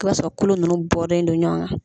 I b'a sɔrɔ kolo ninnu bɔren don ɲɔn na.